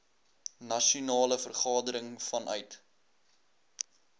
nasionale vergadering vanuit